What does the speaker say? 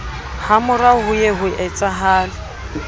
hamorao ho ye ho etsahale